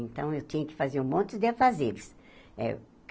Então, eu tinha que fazer um monte de afazeres. eh